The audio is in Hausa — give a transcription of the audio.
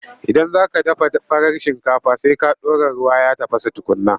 Idan za ka dafa farar shinkafa, sai ka ɗora ruwa ya tafasa tukunna.